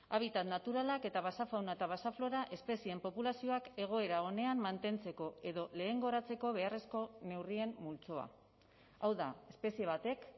habitat naturalak eta basa fauna eta basa flora espezien populazioak egoera onean mantentzeko edo lehengoratzeko beharrezko neurrien multzoa hau da espezie batek